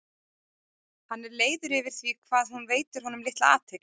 Hann er leiður yfir því hvað hún veitir honum litla athygli.